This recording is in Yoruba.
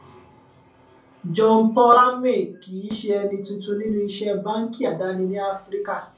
jeanpaul ramé kì í ṣe ẹni tuntun nínú iṣẹ báńkì àdáni ní áfíríkà